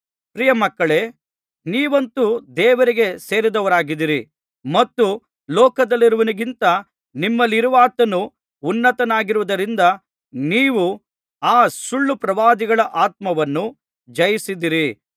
ಪ್ರಿಯಮಕ್ಕಳೇ ನೀವಂತೂ ದೇವರಿಗೆ ಸೇರಿದವರಾಗಿದ್ದೀರಿ ಮತ್ತು ಲೋಕದಲ್ಲಿರುವವನಿಗಿಂತ ನಿಮ್ಮಲ್ಲಿರುವಾತನು ಉನ್ನತನಾಗಿರುವುದರಿಂದ ನೀವು ಆ ಸುಳ್ಳು ಪ್ರವಾದಿಗಳ ಆತ್ಮವನ್ನು ಜಯಿಸಿದ್ದೀರಿ